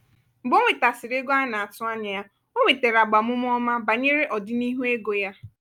mgbe ọ nwetasiri ego a na-atụ anya ya ọ nwetara agbamume ọma banyere ọdịnihu ego ya.